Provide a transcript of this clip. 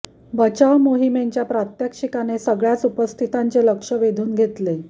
बचाव मोहिमेच्या प्रात्यक्षिकाने सगळ्याच उपस्थितांचे लक्ष वेधून घेतले